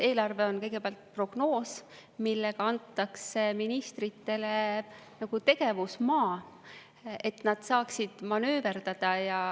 Eelarve on kõigepealt prognoos, millega antakse ministritele nagu tegevusmaa, et nad saaksid manööverdada.